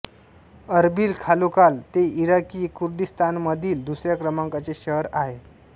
Erbil खालोखाल ते Iraqi कुर्दिस्तानमधील दुसऱ्या क्रमांकाचे शहर आहे